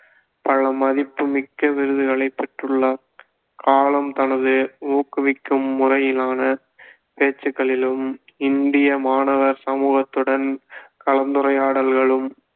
பல மதிப்புமிக்க விருதுகளை பெற்றுள்ளார் கலாம் தனது ஊக்குவிக்கும் முறையிலான பேச்சுக்களிலும் இந்திய மாணவர் சமூகத்துடன் கலந்துரையாடல்களும்